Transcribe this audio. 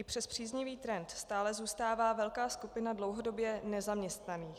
I přes příznivý trend stále zůstává velká skupina dlouhodobě nezaměstnaných.